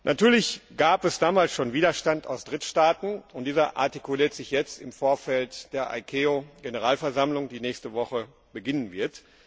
Natürlich gab es damals schon Widerstand aus Drittstaaten, und dieser artikuliert sich jetzt im Vorfeld der ICAO Generalversammlung, die nächste Woche beginnen wird.